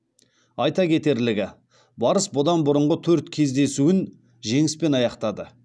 айта кетерлігі барыс бұдан бұрынғы төрт кездесуін жеңіспен аяқтады